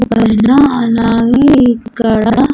అలాగే ఇక్కడ.